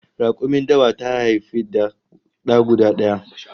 Rakumin dawa ta haifi da guda daya